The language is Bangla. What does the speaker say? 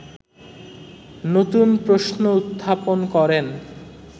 নতুন প্রশ্ন উত্থাপন করেন